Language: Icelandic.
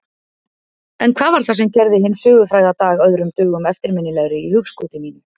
En hvað var það sem gerði hinn sögufræga dag öðrum dögum eftirminnilegri í hugskoti mínu?